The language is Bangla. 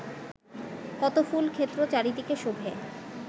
কত ফুল-ক্ষেত্র চারিদিকে শোভে